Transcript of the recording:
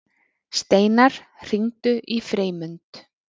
Steinar, hringdu í Freymund.